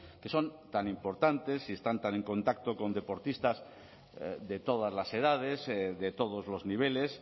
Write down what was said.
que son tan importantes y están tan en contacto con deportistas de todas las edades de todos los niveles